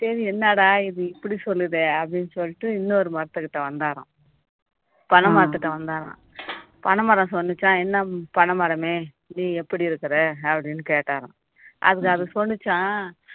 சரி என்னடா இது இப்படி சொல்லுதே அப்படின்னு சொல்லிட்டு இன்னொரு மரத்துக்கிட்ட வந்தாராம் பனை மரத்துக்கிட்ட வந்தாராம் பனைமரம் சொல்லுச்சாம் என்ன பனைமரமே நீ எப்படி இருக்கிற அப்படின்னு கேட்டாராம் அதுக்கு அது சொல்லுச்சாம்